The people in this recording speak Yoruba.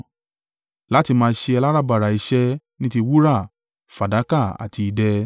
Láti máa ṣe aláràbarà iṣẹ́ ní ti wúrà, fàdákà àti idẹ,